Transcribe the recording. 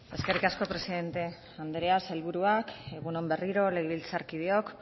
eskerrik asko presidente andrea sailburuak egun on berriro legebiltzarkideok